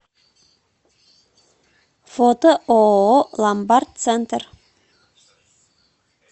фото ооо ломбард центр